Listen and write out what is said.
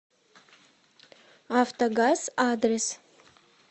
автогаз адрес